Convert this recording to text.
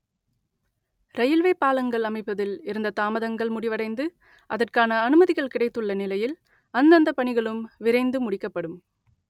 railway பாலங்கள் அமைப்பதில் இருந்த தாமதங்கள் முடிவடைந்து அதற்கான அனுமதிகள் கிடைத்துள்ள நிலையில் அந்தந்த பணிகளும் விரைந்து முடிக்கப்படும்